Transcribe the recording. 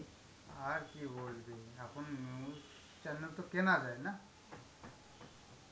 আর কি বলবি, এখন news channel তো কেনা যায় না,